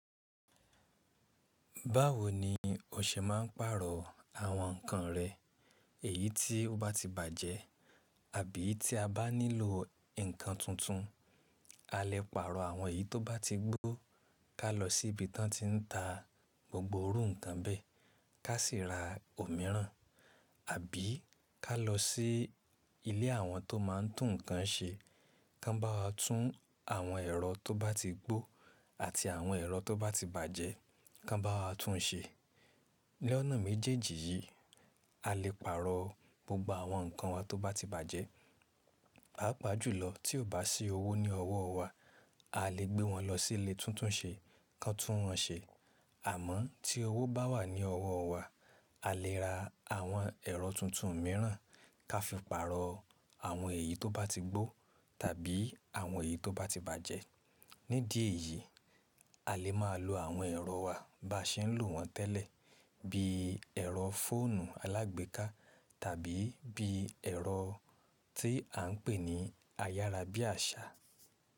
Báwo ni o ṣe máa ń pàrọ̀ àwọn nǹkan rẹ? Èyí tí ó bá ti bàjẹ́ àbí tí a bá nílò nǹkan tuntun? A lè pàrọ̀ àwọn èyí tó bá ti gbó ká lọ sí ibi tán tí ń ta gbogbo irú nǹkan bẹ́ẹ̀, ká sì ra òmíràn. Àbí ká lọ sí ilé àwọn tó máa ń tún nǹkan ṣe kan bá wà tún àwọn ẹ̀rọ tó bá ti gbó àti àwọn ẹ̀rọ tó bá ti bàjẹ́ kan bá wà tún un ṣe. Ni ọ̀nà méjèèjì yìí, a lè pàrọ̀ gbogbo àwọn nǹkan wa tó bá ti bàjẹ́. Pàápajùlọ tí ò bá sí owó ní ọwọ́ wa, a lè gbé wọn lọ sí ilé tuntunṣe, kan tún wọ́n ṣe. Àmọ́ tí owó bá wà ní ọwọ́ wa, a lè ra àwọn ẹ̀rọ tuntun mìíràn ká fi pàrọ̀ àwọn èyí tó bá ti gbó tàbí àwọn èyí tó bá ti bàjẹ́. Nídìí èyí, a lè máa lo àwọn ẹ̀rọ wa bá ṣe ń lò wọ́n tẹ́lẹ̀ bíi ẹ̀rọ fóònù alágbèéká tàbí bíi ẹ̀rọ tí à ń pè ní ayárábíàṣá.